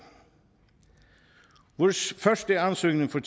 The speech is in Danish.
vores første ansøgning for